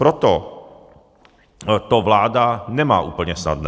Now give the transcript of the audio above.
Proto to vláda nemá úplně snadné.